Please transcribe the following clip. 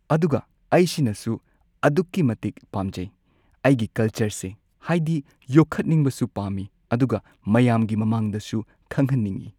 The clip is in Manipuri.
ꯑꯗꯨꯒ ꯑꯩꯁꯤꯅꯁꯨ ꯑꯗꯨꯛꯀꯤ ꯃꯇꯤꯛ ꯄꯥꯝꯖꯩ ꯑꯩꯒꯤ ꯀꯜꯆꯔꯁꯦ ꯍꯥꯏꯗꯤ ꯌꯣꯈꯠꯅꯤꯡꯕꯁꯨ ꯄꯥꯝꯃꯤ ꯑꯗꯨꯒ ꯃꯌꯥꯝꯒꯤ ꯃꯃꯥꯡꯗꯁꯨ ꯈꯪꯍꯟꯅꯤꯡꯉꯤ꯫